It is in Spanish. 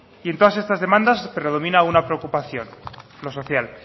y en todas estas demandas predomina una preocupación lo social